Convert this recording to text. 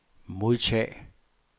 modtag